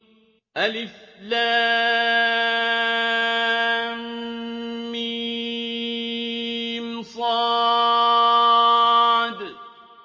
المص